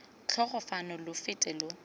tloga fano lo fete lo